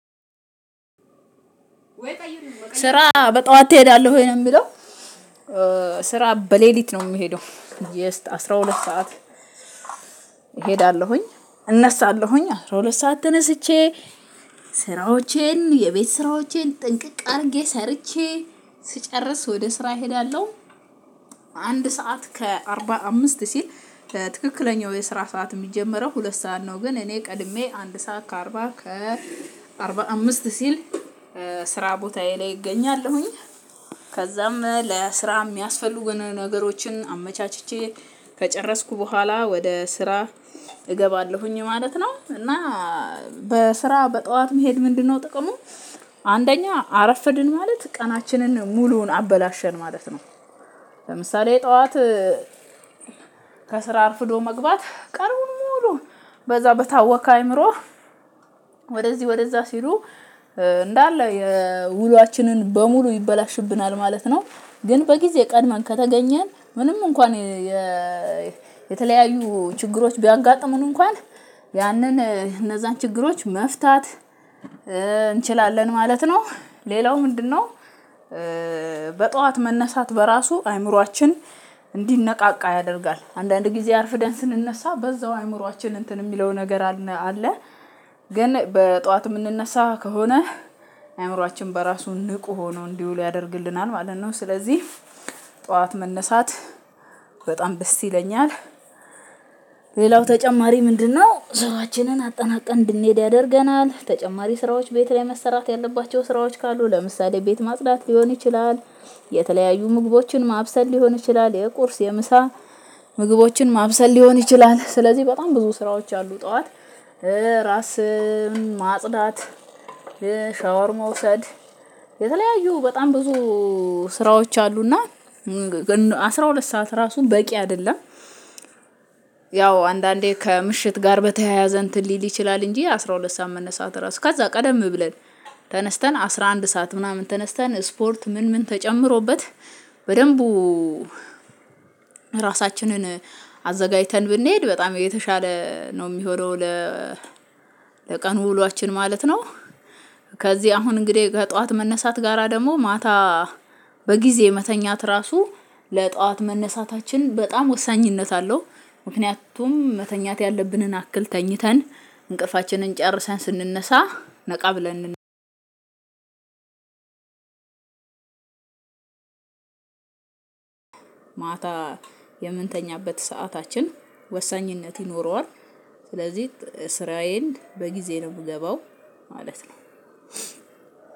ስራ በጠዋት ትሄዳለሁ ወይ ነው የምለው? ስራ በሌሊት ነው የሚሄደው ጀስት አስራ ሁለት ሰዓት። እሄዳለሁኝ እነሳለሁኝ አስራ ሁለት ሰዓት ተነስቼ ስራዎቼን የቤት ስራዎቼን ጥንቅቅ አድርጌ ሰርቼ ስጨርስ ወደ ስራ እሄዳለሁ። አንድ ሰዓት ከአርባ አምስት ሲል ትክክለኛው የስራ ሰዓት የሚጀመረው ሁለት ሰዓት ነው። ግን እኔ ቀድሜ አንድ ሰዓት ከአርባ ከአርባ አምስት ሲል ስራ ቦታዬ ላይ እገኛለሁኝ። ከዛም ለስራ የሚያስፈልጉን ነገሮችን አመቻችቼ ከጨረስኩ በኋላ ወደ ስራ እገባለሁኝ ማለት ነው። እና ስራ በጠዋት መሄድ ምንድነው ጥቅሙ? አንደኛ አረፈድን ማለት ቀናችንን ሙሉውን አበላሸን ማለት ነው። ለምሳሌ ጠዋት ከስራ አርፍዶ መግባት ቀኑን ሙሉ በዛ በታወከ አይምሮ ወደዚህ ወደዛ ሲሉ እንዳለ የውሏችንን በሙሉ ይበላሽብናል ማለት ነው። ግን በጊዜ ቀድመን ከተገኘን ምንም እንኳን የተለያዩ ችግሮች ቢያጋጥሙን እንኳን ያንን እነዛን ችግሮች መፍታት እንችላለን ማለት ነው። ሌላው ምንድነው? በጠዋት መነሳት በራሱ አእምሮአችን እንዲነቃቃ ያደርጋል አንዳንድ ጊዜ አርፍደን ስንነሳ በዛው አእምሮአችን እንትን የሚለው ነገር አለ ግን በጠዋት የምንነሳ ከሆነ አእምሮአችን በራሱ ንቁ ሆኖ እንዲውሉ ያደርግልናል ማለት ነው። ስለዚህ ጠዋት መነሳት በጣም ደስ ይለኛል። ሌላው ተጨማሪ ምንድነው? ስራችንን አጠናቀን እንድንሄድ ያደርገናል ተጨማሪ ስራዎች ቤት ላይ መሰራት ያለባቸው ስራዎች ካሉ ለምሳሌ ቤት ማጽዳት ሊሆን ይችላል። የተለያዩ ምግቦችን ማብሰል ሊሆን ይችላል የቁርስ የምሳ ምግቦችን ማብሰል ሊሆን ይችላል ስለዚህ በጣም ብዙ ስራዎች አሉ። ጠዋት ራስ ማጽዳት ሻወር መውሰድ የተለያዩ በጣም ብዙ ስራዎች አሉና። አስራ ሁለት ሰዓት ራሱ በቂ አይደለም። ያው አንዳንዴ ከምሽት ጋር በተያያዘ እንትን ሊል ይችላል እንጂ አስራ ሁለት ሰዓት መነሳት ራሱ ከዛ ቀደም ብለን ተነስተን አስራ አንድ ሰዓት ምናምን ተነስተን ስፖርት ምን ምን ተጨምሮበት በደንቡ ራሳችንን አዘጋጅተን ብንሄድ በጣም የተሻለ ነው። የሚሆነው ለ ለቀን ውሏችን ማለት ነው። ከዚህ አሁን እንግዲህ ከጠዋት መነሳት ጋራ ደግሞ ማታ በጊዜ የመተኛት ራሱ ለጠዋት መነሳታችን በጣም ወሳኝነት አለው። ምክንያቱም መተኛት ያለብንን አክል ተኝተን እንቅልፋችንን ጨርሰን ስንነሳ ነቃ ብለን ማታ የምንተኛበት ሰዓታችን ወሳኝነት ይኖረዋል። ስለዚህ ከስራዬ በጊዜ ነው የምገባው ማለት ነው።